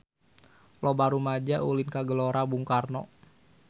Loba rumaja ulin ka Gelora Bung Karno